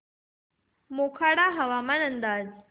मोखाडा हवामान अंदाज